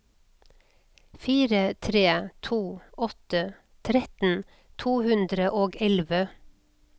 fire tre to åtte tretten to hundre og elleve